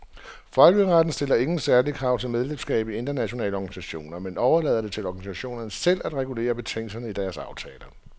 Folkeretten stiller ingen særlige krav til medlemskab i internationale organisationer, men overlader det til organisationerne selv at regulere betingelserne i deres aftaler.